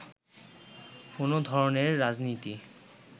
কোন ধরনের রাজনীতি